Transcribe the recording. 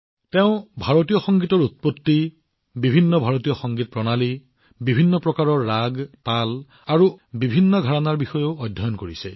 তেওঁ ভাৰতীয় সংগীতৰ উৎপত্তি বিভিন্ন ভাৰতীয় সংগীত প্ৰণালী বিভিন্ন প্ৰকাৰৰ ৰাগ তাল আৰু ৰসৰ লগতে বিভিন্ন ঘৰাণাৰ বিষয়ে অধ্যয়ন কৰিছে